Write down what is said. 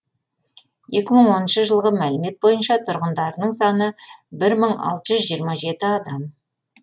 екі мың оныншы жылғы мәлімет бойынша тұрғындарының саны бір мың алты жүз жиырма жеті адам